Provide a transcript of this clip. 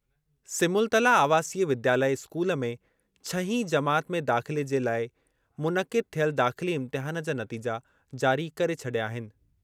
सिमुलतला आवासीय विद्यालय स्कूल में छहीं जमात में दाख़िले जे ल​ऐ मुनक़िदु थियल दाख़िली इम्तिहान जा नतीजा जारी करे छॾिया आहिनि।